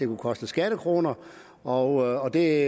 vil koste skattekroner og det